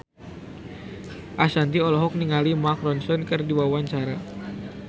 Ashanti olohok ningali Mark Ronson keur diwawancara